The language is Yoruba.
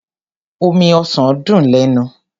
Omi ọsàn dùn lẹ́nu.